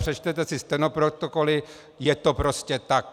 Přečtěte si stenoprotokoly, je to prostě tak.